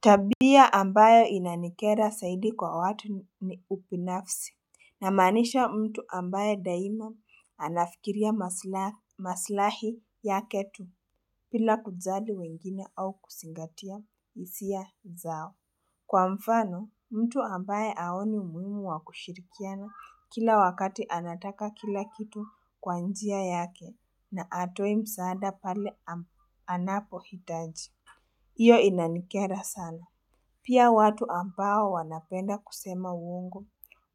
Tabia ambayo inanikera saidi kwa watu ni upinafsi. Naamanisha mtu ambaye daima anafikiria maslahi, maslahi yaketu pila kujali wengine au kusingatia hisia zao. Kwa mfano mtu ambaye haoni muhimu wa kushirikiana kila wakati anataka kila kitu kwa njia yake na atoi msaada pale, anapo hitaji. Iyo inanikera sana. Pia watu ambao wanapenda kusema uongo